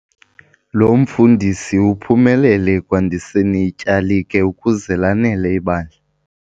Lo mfundisi uphumelele ekwandiseni ityalike ukuze lanele ibandla.